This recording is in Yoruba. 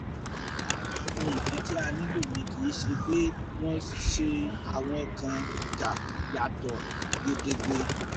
ara nǹkan tá a nílò ni kì í ṣe pé wọ́n ṣe àwọn kan dà yàtọ̀ gedegbe